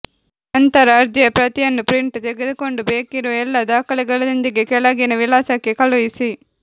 ನಂತರ ಅರ್ಜಿಯ ಪ್ರತಿಯನ್ನು ಪ್ರಿಂಟ್ ತೆಗೆದುಕೊಂಡು ಬೇಕಿರುವ ಎಲ್ಲ ದಾಖಲೆಗಳೊಂದಿಗೆ ಕೆಳಗಿನ ವಿಳಾಸಕ್ಕೆ ಕಳುಹಿಸಿ